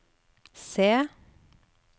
se